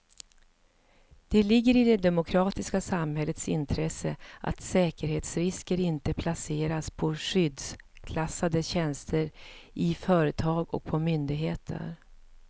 Det ligger i det demokratiska samhällets intresse att säkerhetsrisker inte placeras på skyddsklassade tjänster i företag och på myndigheter.